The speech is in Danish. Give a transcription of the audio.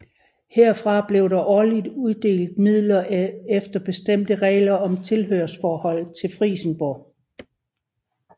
Herfra blev der årligt uddelt midler efter bestemte regler om tilhørsforhold til Frijsenborg